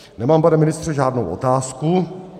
Nemám, pane ministře, žádnou otázku.